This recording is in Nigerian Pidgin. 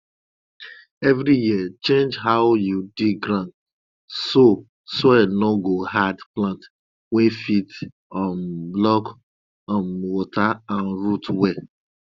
every year change how you dig ground so soil no go hard plant wey fit um block um water and root well